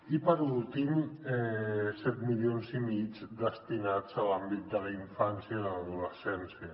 i per últim set milions i mig destinats a l’àmbit de la infància i de l’adolescència